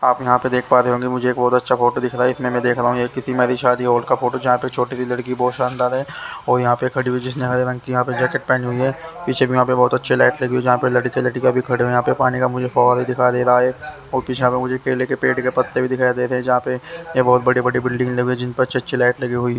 आप यहाँ पर देख पा रहे है होंगे मुझे बहोत अच्छा फोटो दिख रहा है इसमें में देख रहा हु यह किसी मैरिज शादी हॉल का फोटो जहा पे छोटी सी लड़की बहोत शानदार है और यहाँ पर खड़ी हुई जिसने हरी रंग की यहाँ पर जैकेट पहनी हुई है पीछे में यहाँ पर बहोत अच्छी लाइट लगी हुई है जहा पर लड़के लड़किया भी खड़े है यहाँ पे पानी का मुझे फॉल दिखाई दे रहा है और किशाका मुझे केले के पेड़ के पत्ते भी दिखाई दे रहे है जहा पर बहोत बड़ी बड़ी बिल्डिंग लगि हुई है जिन पर अच्छे अच्छे लाइट लगी हुई है।